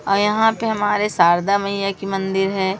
और यहां पे हमारे शारदा मैया की मंदिर हैं।